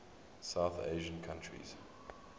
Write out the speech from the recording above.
south asian countries